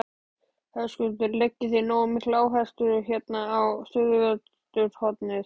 Höskuldur: Leggið þið nógu mikla áherslu hérna á suðvesturhornið?